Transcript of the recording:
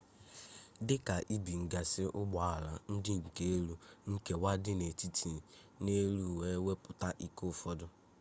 dika ibinggasi ugbo-ala nke di elu.nkewa dị na etiti na elụ wee wepụta ike ụfọdụ